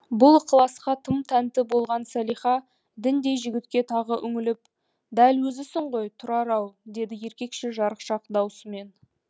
бұл ықыласқа тым тәнті болған салиха діндей жігітке тағы үңіліп дәл өзісің ғой тұрар ау деді еркекше жарықшақ дауысымен